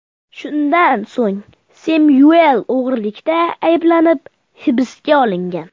Shundan so‘ng Semyuel o‘g‘irlikda ayblanib hibsga olingan.